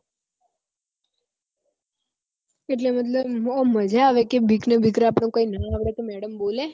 એટલે મતલબ મજા આવે બીક ને બીક આપડ ને આવડે તો મેડમ કઈ બોલે